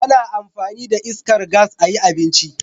Ana amfani da iskar gas a yi abinci